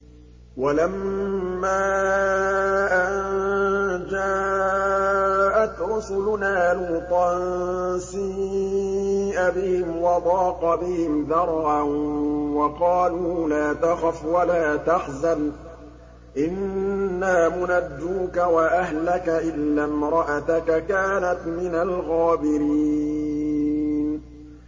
وَلَمَّا أَن جَاءَتْ رُسُلُنَا لُوطًا سِيءَ بِهِمْ وَضَاقَ بِهِمْ ذَرْعًا وَقَالُوا لَا تَخَفْ وَلَا تَحْزَنْ ۖ إِنَّا مُنَجُّوكَ وَأَهْلَكَ إِلَّا امْرَأَتَكَ كَانَتْ مِنَ الْغَابِرِينَ